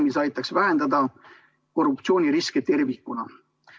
See aitaks vähendada korruptsiooniriski tervikuna.